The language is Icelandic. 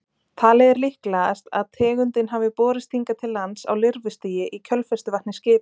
Talið er líklegast að tegundin hafi borist hingað til lands á lirfustigi í kjölfestuvatni skipa.